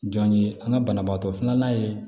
Jɔn ye an ka banabaatɔ filanan ye